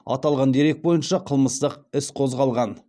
аталған дерек бойынша қылмыстық іс қозғалған